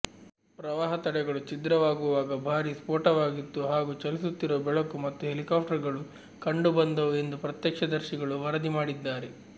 ಪ್ರವಾಹ ತಡೆಗಳು ಛಿದ್ರವಾಗುವಾಗ ಭಾರಿ ಸ್ಫೋಟವಾಗಿತ್ತು ಹಾಗೂ ಚಲಿಸುತ್ತಿರುವ ಬೆಳಕು ಮತ್ತು ಹೆಲಿಕಾಪ್ಟರ್ಗಳು ಕಂಡುಬಂದವು ಎಂದು ಪ್ರತ್ಯಕ್ಷದರ್ಶಿಗಳು ವರದಿ ಮಾಡಿದ್ದಾರೆ